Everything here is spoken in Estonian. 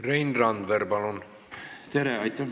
Rein Randver, palun!